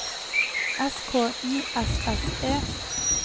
S K I S S E